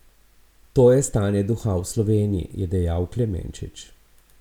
To je stanje duha v Sloveniji, je dejal Klemenčič.